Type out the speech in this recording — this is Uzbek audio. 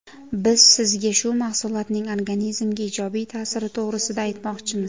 Biz sizga bu mahsulotning organizmga ijobiy ta’siri to‘g‘risida aytmoqchimiz.